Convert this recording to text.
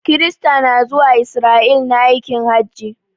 Kirista na zuwa Israel na aikin hajj.